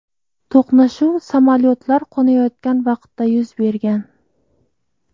To‘qnashuv samolyotlar qo‘nayotgan vaqtda yuz bergan.